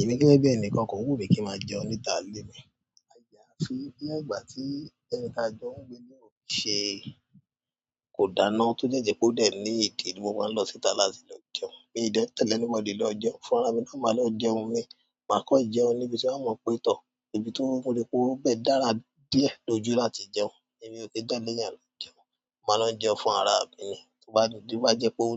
Èmi gẹ́gẹ́ bí ẹnìkan, kò wù mí pé kí ma jẹun níta débè. Nígbà tí ní ìwòn ìgbà tí ẹni tí a jọ́ n gbe o ti náà ó se kò dáná tó jẹ́jẹ́ pé ó dè ẹ́ ní ìdí tí mo máa ń lọ síta láti lọ jẹun. Mi ò dẹ̀ tẹ̀lé ni mo dé lọ jẹun fún ara mi náà, máa lọ jẹun mi, máa kọ́ jẹun níbi tí a mọ̀ pé tọ́, ibi tó mo rí pé ó bẹ́ẹ̀ dára díẹ̀ lójú láti jẹun, èmi ò kí jáde yẹn lọ jẹun. Màá lọ jẹun fún ara mi ni, tí ó bá dùn tí wá jẹ pé ó